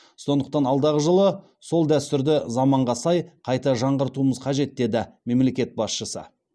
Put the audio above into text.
сондықтан алдағы жылы сол дәстүрді заманға сай қайта жаңғыртуымыз қажет деді мемлекет басшысы